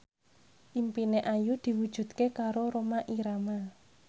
impine Ayu diwujudke karo Rhoma Irama